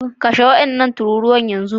Kashe wadannan tururuwan yanzu